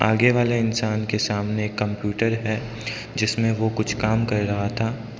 आगे वाले इंसान के सामने कंप्यूटर है जिसमें वो कुछ काम कर रहा था।